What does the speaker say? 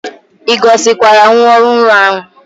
I gosikwara nwa ohuru ahu?